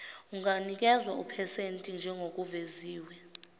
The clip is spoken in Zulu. unganikezwa iphethenti njengokuveziwe